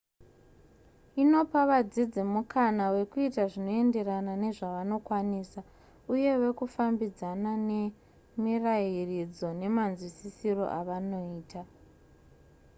inopa vadzidzi mukana wekuita zvinoenderana nezvavanokwanisa uye wekufambidzana nemirayiridzo nemanzwisisiro avanoita